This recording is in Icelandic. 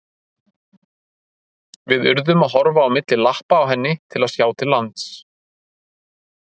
Við urðum að horfa á milli lappa á henni til að sjá til lands.